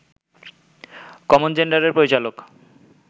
‘common gender’ এর পরিচালক